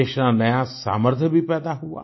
देश में नया सामर्थ्य भी पैदा हुआ